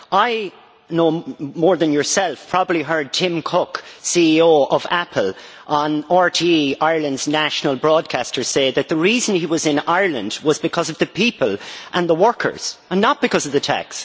I know more than yourself. You probably heard Tim Cook, CEO of Apple, on RTE, Ireland's national broadcaster, who said that the reason he was in Ireland was because of the people and the workers and not because of the tax.